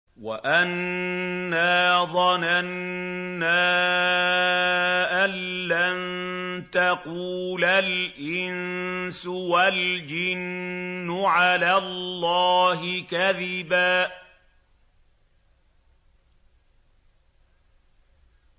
وَأَنَّا ظَنَنَّا أَن لَّن تَقُولَ الْإِنسُ وَالْجِنُّ عَلَى اللَّهِ كَذِبًا